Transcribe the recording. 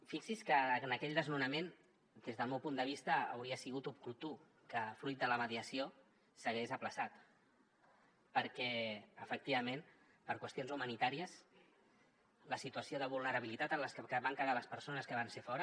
fixi’s que en aquell desnonament des del meu punt de vista hauria sigut oportú que fruit de la mediació s’hagués aplaçat perquè efectivament per qüestions humanitàries la situació de vulnerabilitat en les que van quedar les persones que van ser fora